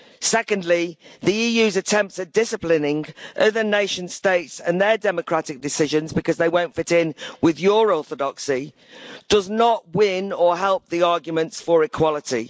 Secondly, the EU's attempts at disciplining other nation states and their democratic decisions because they won't fit in with your orthodoxy does not win or help the arguments for equality.